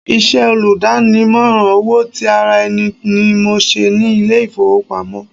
Iṣẹ́ olùdámọ̀ràn owó ti ara ẹni ni mò ń ṣe ní ilé ìfowópamọ́.